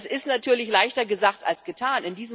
Das ist natürlich leichter gesagt als getan.